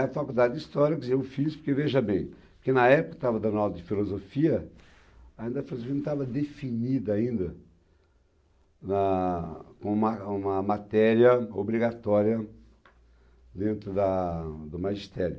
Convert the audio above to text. Daí a faculdade de História, quer dizer, eu fiz, porque veja bem, porque na época estava dando aula de Filosofia, ainda a Filosofia não estava definida ainda na uma uma matéria obrigatória dentro da do magistério.